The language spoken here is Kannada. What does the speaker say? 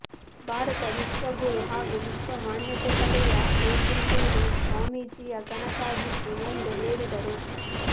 ಭಾರತ ವಿಶ್ವಗುರು ಹಾಗೂ ವಿಶ್ವ ಮಾನ್ಯತೆ ಪಡೆಯ ಬೇಕೆಂಬುದು ಸ್ವಾಮೀಜಿಯ ಕನಸಾಗಿತ್ತು ಎಂದು ಹೇಳಿದರು